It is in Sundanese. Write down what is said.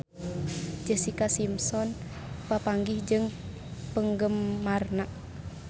Jessica Simpson papanggih jeung penggemarna